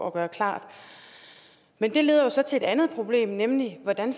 at gøre klart men det leder jo så til et andet problem nemlig hvordan